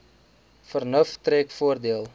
vernuf trek voordeel